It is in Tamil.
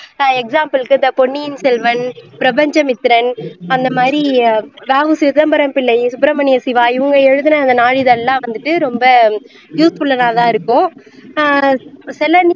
ஆஹ் example க்கு இந்த பொன்னியின் செல்வன், பிரபஞ்சமித்ரன் அந்த மாதிரி வ உ சிதம்பரம் பிள்ளை, சுப்புரமணிய சிவா இவங்க எல்லாம் எழுதுன அந்த நாளிதழ் எல்லாம் வந்து ரொம்ப useful உள்ளதா தான் இருக்கும் ஆஹ் சில